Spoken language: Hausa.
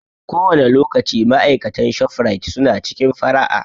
Kowane lokaci ma'aikatan ShofRite su na cikin fara'a